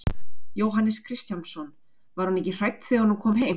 Jóhannes Kristjánsson: Var hún ekki hrædd þegar hún kom heim?